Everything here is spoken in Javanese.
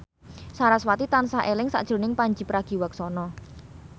sarasvati tansah eling sakjroning Pandji Pragiwaksono